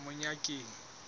monyakeng